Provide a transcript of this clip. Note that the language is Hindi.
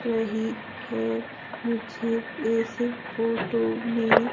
वही है मुझे इस फोटो में--